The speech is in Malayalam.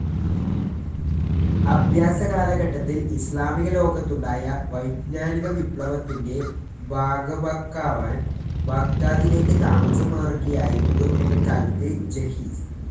അഭ്യാസ കാലഘട്ടത്തിൽ ഇസ്ലാമിക ലോകത്തുണ്ടായ വൈജ്ഞാനിക വിപ്ലവത്തിൻ്റെ ഭാഗഭാക്കാവാൻ ബാഗ്ദാദിലേക്ക് താമസം മാറുകയായിരുന്നു പിൽക്കാലത്ത് ജഹിസ്.